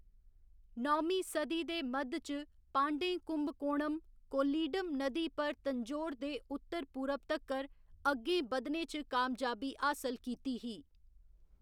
नौमीं सदी दे मद्ध च, पांड्यें कुंभकोणम, कोल्लीडम नदी पर तंजौर दे उत्तर पूरब तक्कर अग्गें बधने च कामयाबी हासल कीती ही।